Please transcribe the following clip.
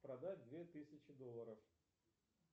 продать две тысячи долларов